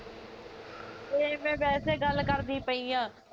ਏਹ ਮੈਂ ਵੈਸੇ ਗੱਲ ਕਰਦੀ ਪਈ ਆ